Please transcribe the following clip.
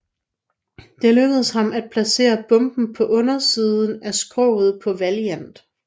Det lykkedes ham at placere bomben på undersiden af skroget på Valiant